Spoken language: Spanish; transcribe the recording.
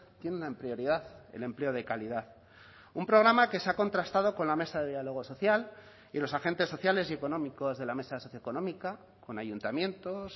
tiene una prioridad el empleo de calidad un programa que se ha contrastado con la mesa de diálogo social y los agentes sociales y económicos de la mesa socioeconómica con ayuntamientos